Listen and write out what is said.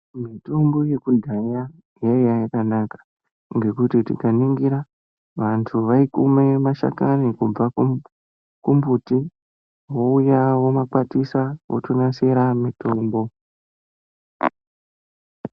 Mitombo yekudhaya yaiya yakanaka ngekuti tikaningira vantu vaikume mashakani kubva ku kumbuti vouya vomakwatisa votonasira mutombo.